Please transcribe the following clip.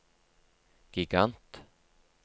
gigant